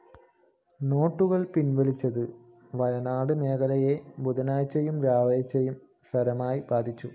നോട്ടുകള്‍ പിന്‍വലിച്ചത് വയനാടന്‍ മേഖലയെ ബുധനാഴ്ച്ചയും വ്യാഴാഴ്ച്ചയും സാരമായി ബാധിച്ചു